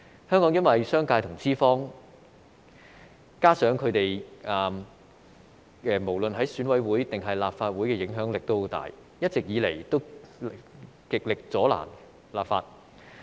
香港因為商界和資方無論在選委會或立法會的影響力均很大，他們一直以來都極力阻撓立法。